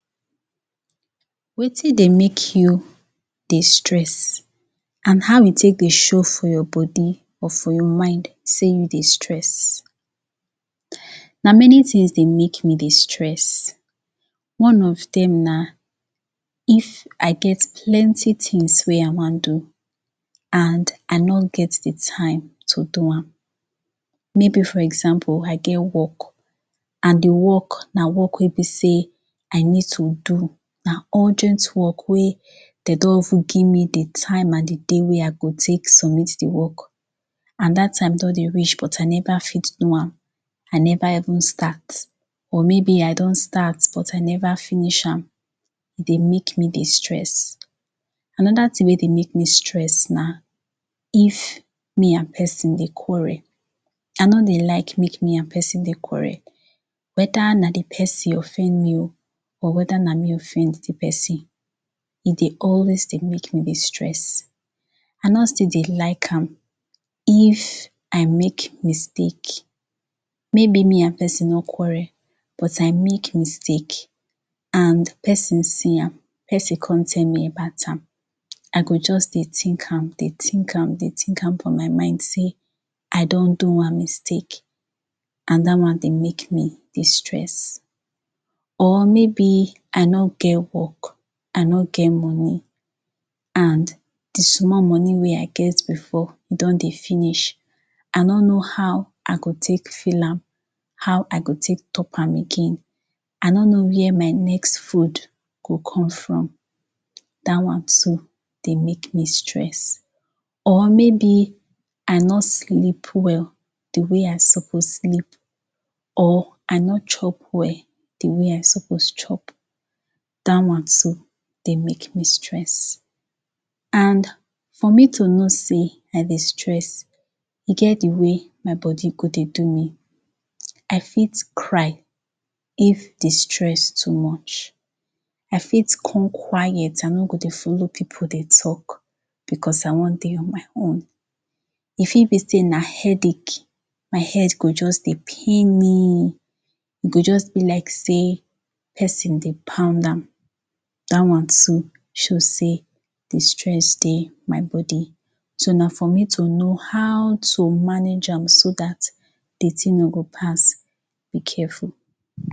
wetin dey make you dey stress and how e take dey show for your body or for your mind sey you dey stress na many tings dey make me dey stress one of dem na if i get plenty tings wey i wan do and i no get the time to do am maybe for example i get work and the work na work wey be sey i need to do na urgent work wey dey don of ten give me the time and the date wey i go take submit the work and that time don dey reach but i never fit do am i never even start or maybe i don start but i never finish am dey make me stress another ting wey dey make stress na if me and person dey quarrel i no dey like make me and person dey quarrel whether na the person offend me or whether na me offend the person e dey always dey make me dey stress i no still dey like am if i make mistake maybe me and pesin no quarrel but i make mistake and pesin see am pesin come tell me about am i go just dey tink am dey tink am dey tink am for my mind sey i don do am mistake and that one dey make me dey stress or maybe i no get work i no get money and the small money wey i get before don dey finish i no know how i go take feel am how i go take talk am again i no know where my next food go come from that one too dey make me stress or maybe i no sleep well the way i suppose sleep or i no chop well the way i suppose chop that one too dey make me stress and for me to know sey i dey stress e get the way my body go dey do me i fit cry if the stress too much i fit come quiet i no go dey follow people dey talk because i wan dey on my own e fit be sey na headache my head go just dey pain me e go just be like sey pesin dey pound am that one too show sey the stress dey my body so na for me to know how to manage am so that the ting no go pass be careful.